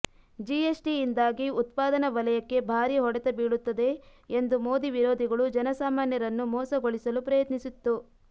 G S T ಯಿಂದಾಗಿ ಉತ್ಪಾದನಾ ವಲಯಕ್ಕೆ ಭಾರಿ ಹೊಡೆತ ಬೀಳುತ್ತದೆ ಎಂದು ಮೋದಿ ವಿರೋಧಿಗಳು ಜನಸಾಮಾನ್ಯರನ್ನು ಮೋಸಗೊಳಿಸಲು ಪ್ರಯತ್ನಿಸಿತ್ತು